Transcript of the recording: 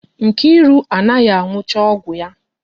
Nkiru anaghị anụcha ọgwụ ya.